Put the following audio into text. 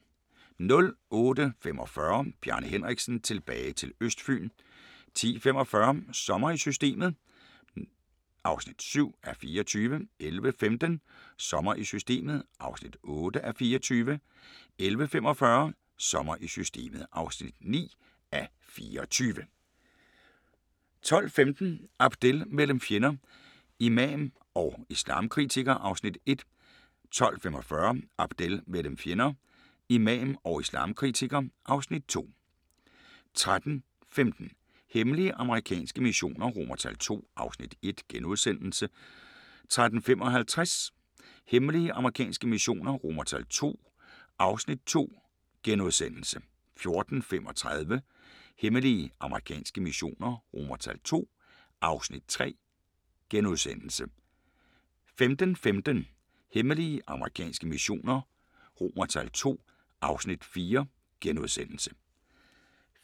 08:45: Bjarne Henriksen – tilbage til Østfyn 10:45: Sommer i Systemet (7:24) 11:15: Sommer i Systemet (8:24) 11:45: Sommer i Systemet (9:24) 12:15: Abdel mellem fjender – Imam og islamkritiker (Afs. 1) 12:45: Abdel mellem fjender – Imam og islamkritiker (Afs. 2) 13:15: Hemmelige amerikanske missioner II (Afs. 1)* 13:55: Hemmelige amerikanske missioner II (Afs. 2)* 14:35: Hemmelige amerikanske missioner II (Afs. 3)* 15:15: Hemmelige amerikanske missioner II (Afs. 4)*